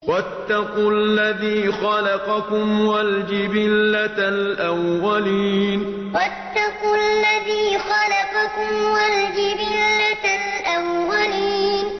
وَاتَّقُوا الَّذِي خَلَقَكُمْ وَالْجِبِلَّةَ الْأَوَّلِينَ وَاتَّقُوا الَّذِي خَلَقَكُمْ وَالْجِبِلَّةَ الْأَوَّلِينَ